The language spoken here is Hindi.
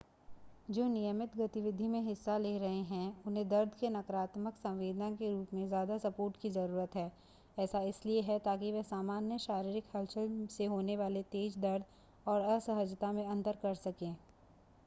जो नियमित गतिविधि में हिस्सा ले रहे हैं उन्हें दर्द के नकारात्मक संवेदना के रूप में ज़्यादा सपोर्ट की ज़रूरत है ऐसा इसलिए है ताकि वे सामान्य शारीरिक हलचल से होने वाले तेज़ दर्द और असहजता में अंतर कर सकें